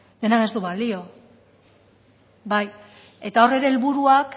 denak ez du balio bai eta hor ere helburuak